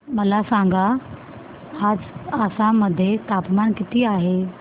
मला सांगा आज आसाम मध्ये तापमान किती आहे